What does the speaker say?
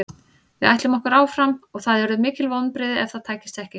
Við ætlum okkur áfram og það yrðu mikil vonbrigði ef það tækist ekki.